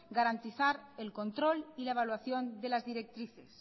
garantizar el control y la evaluación de las directrices